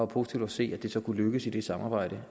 positivt at se at det så kunne lykkes i det samarbejde